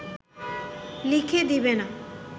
লিখে দেবে না